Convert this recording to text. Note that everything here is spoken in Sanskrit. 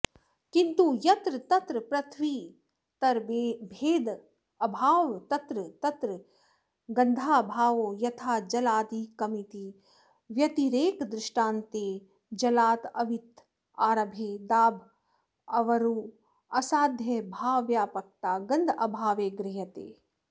किन्तु यत्र यत्र पृथिवीतरभेदाभावस्तत्र तत्र गन्धाभावो यथा जलादिकमिति व्यतिरेकदृष्टान्ते जलादावितरभेदाभावरूपसाध्याभावव्यापकता गन्धाभावे गृह्यते